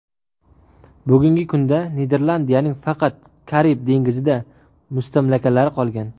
Bugungi kunda Niderlandiyaning faqat Karib dengizida mustamlakalari qolgan.